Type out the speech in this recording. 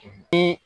Bi